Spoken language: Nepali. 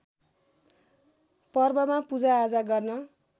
पर्वमा पूजाआजा गर्न